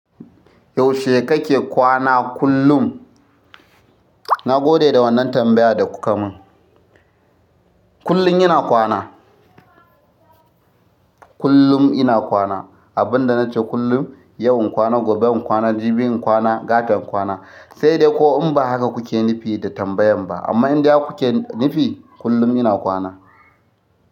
Yaushe kake kwana kullum? Na gode da wannan tambayar da kuka mun. Kullum ina kwana. Kullum ina kwana. Abin da nace kullum, yau in kwana, gobe in kwana, jibi in kwana, gata kwana. Sai dai ko in ba haka kuke nufi da tambayan ba, amma in dai har kuke nufi, kullum ina kwana.